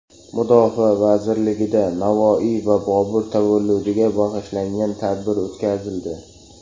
Mudofaa vazirligida Navoiy va Bobur tavalludiga bag‘ishlangan tadbir o‘tkazildi.